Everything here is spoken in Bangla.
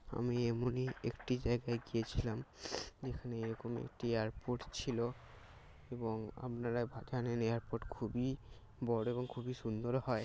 আমি এমনি একটি জায়গায় গিয়েছিলাম যেখানে এরকম একটি এয়ারপোর্ট ছিল এবং আপনারা জানেন এয়ারপোর্ট খুবই বড় এবং খুবই সুন্দর হয়।